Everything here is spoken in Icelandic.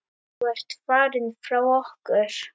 Þú ert farinn frá okkur.